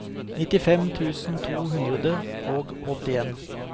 nittifem tusen to hundre og åttien